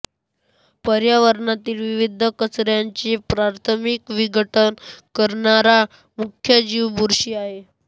पर्यावरणातील विविध कचऱ्याचे प्राथमिक विघटन करणारा मुख्य जीव बुरशी आहे